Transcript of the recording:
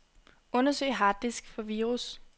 Undersøg harddisk for virus.